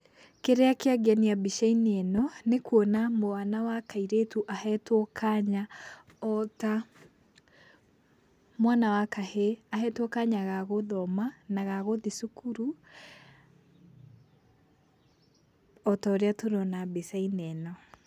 Kĩrĩa kĩangenia mbica-inĩ ĩno nĩkuona mwana wa kairĩtu ahetwo kanya o ta mwana wa kahĩ, ahetwo kanya ga gũthoma na gagũthi cukuru, o ta ũrĩa tũrona mbica-inĩ ĩno.